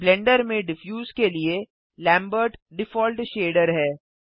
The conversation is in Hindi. ब्लेंडर में डिफ्यूज के लिए लैम्बर्ट डिफॉल्ट शेडर है